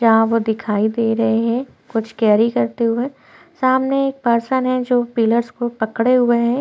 यहाँ वो दिखाई दे रहे है कुछ केरी करते हुए सामने एक पर्सन है जो पिलर्स को पकड़े हुए हैं।